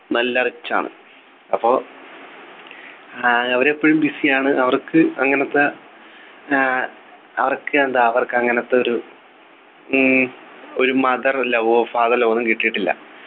നല്ല rich ആണ് അപ്പൊ അഹ് അവർ എപ്പോഴും busy യാണ് അവർക്ക് അങ്ങനെത്തെ ഏർ അവർക്ക് എന്താ അവർക്ക് അങ്ങനത്തെ ഒരു ഈ ഒരു Mother love ഓ father love ഓ ഒന്നും കിട്ടിയിട്ടില്ല